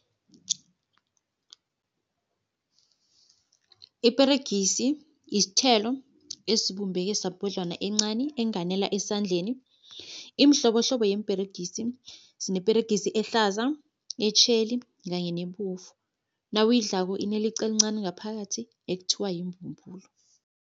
Iperegisi, isthelo esibumbeke sabhodlwana encani enganela esandleni. Imhlobohlobo yeemperegisi sineperegisi ehlaza, etjheli kanye nebovu. Nawuyidlako ineliqa elincani ngaphakathi ekuthiwa yimbumbulu.